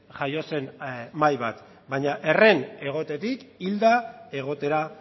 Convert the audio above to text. jaio zen mahai bat baina herren egotetik hilda egotera